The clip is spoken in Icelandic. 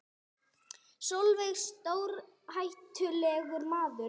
Sólveig: Stórhættulegur maður?